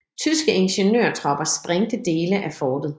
Tyske ingeniørtropper sprængte dele af fortet